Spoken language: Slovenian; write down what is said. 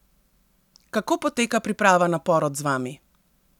Kako poteka priprava na porod z vami?